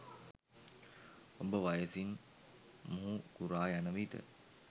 ඔබ වයසින් මුහුකුරා යන විට